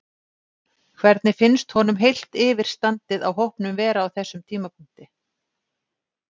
Hvernig finnst honum heilt yfir standið á hópnum vera á þessum tímapunkti?